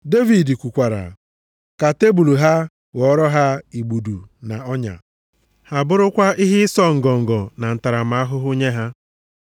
Devid kwukwara, “Ka tebul ha ghọọrọ ha igbudu na ọnya, ha bụrụkwa ihe ịsọ ngọngọ na ntaramahụhụ nye ha.